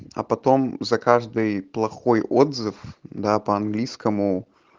а потом за каждый плохой отзыв да по английскому